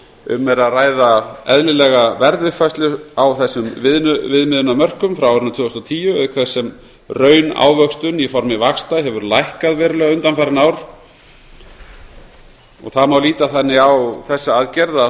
um er að ræða eðlilega verðuppfærslu á þessum viðmiðunarmörkum frá árinu tvö þúsund og tíu auk þess sem raunávöxtun í formi vaxta hefur lækkað verulega undanfarin ár það má líta þannig á þessa aðgerð að